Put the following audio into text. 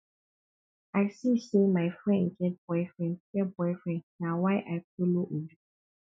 i see say my friend get boyfriend get boyfriend na why i follow obi